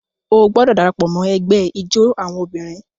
O gbọdọ darapọ̀ mọ ẹgbẹ ijó awọn obìnrin!